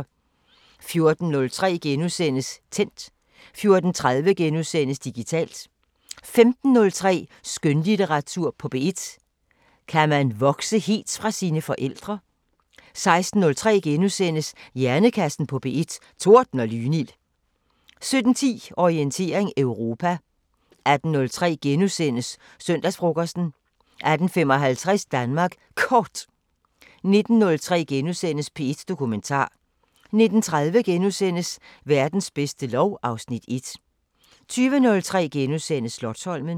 14:03: Tændt * 14:30: Digitalt * 15:03: Skønlitteratur på P1: Kan man vokse helt fra sine forældre? 16:03: Hjernekassen på P1: Torden og lynild * 17:10: Orientering Europa 18:03: Søndagsfrokosten * 18:55: Danmark Kort 19:03: P1 Dokumentar * 19:30: Verdens bedste lov (Afs. 1)* 20:03: Slotsholmen *